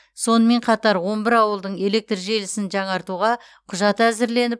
сонымен қатар он бір ауылдың электр желісін жаңартуға құжат әзірленіп